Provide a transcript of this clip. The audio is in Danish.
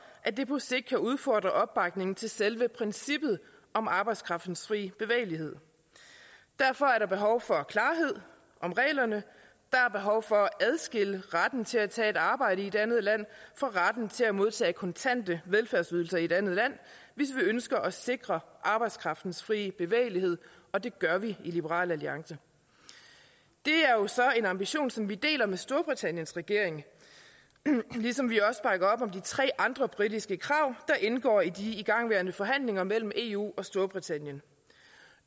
at det på sigt kan udfordre opbakningen til selve princippet om arbejdskraftens frie bevægelighed derfor er der behov for klarhed om reglerne der er behov for at adskille retten til at tage et arbejde i et andet land fra retten til at modtage kontante velfærdsydelser i et andet land hvis vi ønsker at sikre arbejdskraftens frie bevægelighed og det gør vi i liberal alliance det er jo så en ambition som vi deler med storbritanniens regering ligesom vi også bakker op om de tre andre britiske krav der indgår i de igangværende forhandlinger mellem eu og storbritannien